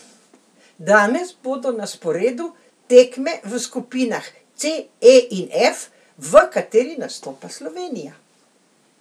Danes bodo na sporedu tekme v skupinah C, E in F, v kateri nastopa Slovenija.